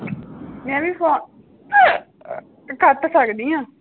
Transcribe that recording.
ਮੈਂ ਵੀ ਫ਼ੋ ਕੱਟ ਸਕਦੀ ਹਾਂ।